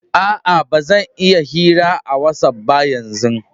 Aa, ba zan iya yin hira a watsapp ba yanzu.